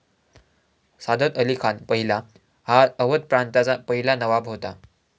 सादत अली खान पहिला हा अवध प्रांताचा पहिला नवाब होता।